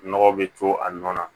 Nɔgɔ bɛ to a nɔ na